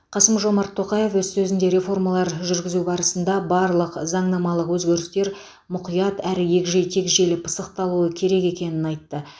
қасым жомарт тоқаев өз сөзінде реформалар жүргізу барысында барлық заңнамалық өзгерістер мұқият әрі егжей тегжейлі пысықталуы керек екенін айтты